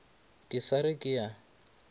ke sa re ke a